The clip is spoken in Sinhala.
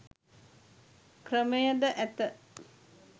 ක්‍රමද ඇත.